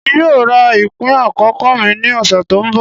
Emi yoo ra ipin akọkọ mi ni ọsẹ to nbọ.